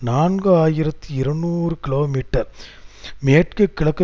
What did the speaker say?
நான்கு ஆயிரத்தி இருநூறு கிலோமீட்டர் மேற்குகிழக்கு